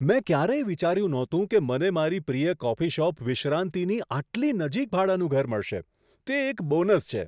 મેં ક્યારેય વિચાર્યું નહોતું કે મને મારી પ્રિય કોફી શોપ વિશ્રાંતિની આટલી નજીક ભાડાનું ઘર મળશે. તે એક બોનસ છે!